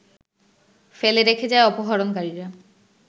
ফেলে রেখে যায় অপহরণকারীরা